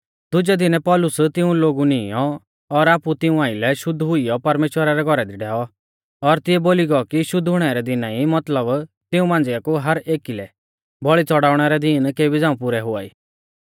दुजै दिनै पौलुस तिऊं लोगु नीईंयौ और आपु तिऊं आइलै शुद्ध हुइयौ परमेश्‍वरा रै घौरा दी डैऔ और तिऐ बोली गौ कि शुद्ध हुणै रै दिना ई मतलब तिऊं मांझ़िया कु हर एकी लै बौल़ी च़ौड़ाउणै रै दीन केबी झ़ांऊ पुरै हुआई